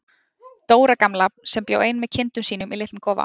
Dóra gamla sem bjó ein með kindum sínum í litlum kofa.